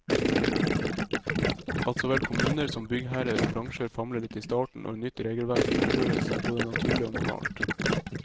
At så vel kommuner som byggherrer og bransjer famler litt i starten når nytt regelverk innføres, er både naturlig og normalt.